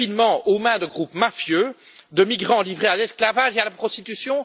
Le confinement, aux mains de groupes mafieux, de migrants livrés à l'esclavage et à la prostitution?